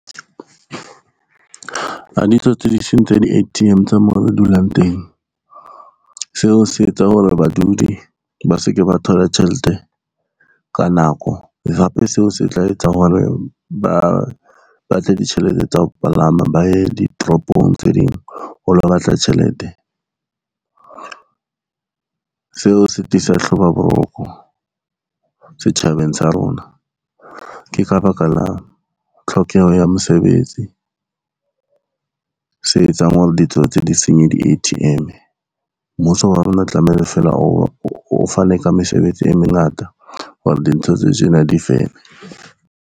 Ha ditsotsi di sentse di-A_T_M tsa moo re dulang teng, seo se etsa hore badudi ba se ke ba thola tjhelete ka nako, hape seo se tla etsa hore ba ba tle ditjhelete tsa ho palama ba ye ditoropong tse ding ho lo batla tjhelete. Seo se tiisa setjhabeng sa rona, ke ka baka la tlhokeho ya mosebetsi se etsang hore ditsotsi di senye di-A_T_M. Mmuso wa rona tlamehile fela o fane ka mesebetsi e mengata hore dintho tse tjena difele.